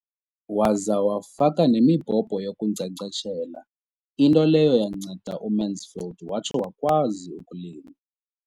Waza wafaka nemibhobho yokunkcenkceshela, into leyo yanceda uMansfield watsho wakwazi ukulima.